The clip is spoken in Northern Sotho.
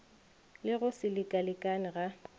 le go se lekalekane ga